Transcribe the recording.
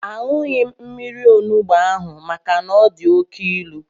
Aṅụghị m mmiri onugbu ahụ maka na ọ dị oké ilu